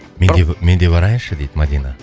менде менде барайыншы дейді мадина